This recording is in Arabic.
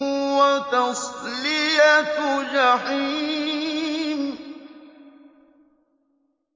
وَتَصْلِيَةُ جَحِيمٍ